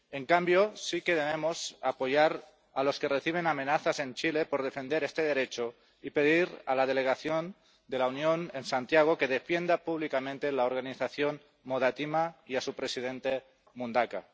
En cambio, sí que debemos apoyar a los que reciben amenazas en Chile por defender este derecho y pedir a la delegación de la Unión en Santiago que defienda públicamente la organización Modatima y a su presidente Mundaca.